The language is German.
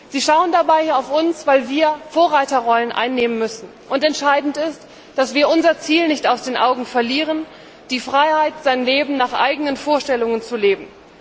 Sie schauen dabei auf uns, weil wir Vorreiterrollen einnehmen müssen. Entscheidend ist, dass wir unser Ziel nicht aus den Augen verlieren die Freiheit, das Leben nach eigenen Vorstellungen zu leben.